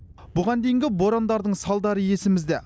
бұған дейінгі борандардың салдары есімізде